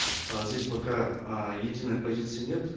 э здесь пока э единой позиции нет